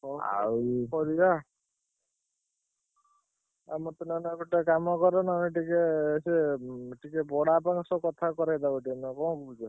ହଁ ଆଉ ମତେ ନହେଲେ ଗୋଟେ କାମ କର ନହେଲେ ଟିକେ ସେ ଉଁ ଟିକେ ବଡ ବାପାଙ୍କ ସହ କଥା କରେଇଦବ ଟିକେ ନା କଣ କହୁଛ?